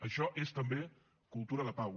això és també cultura de pau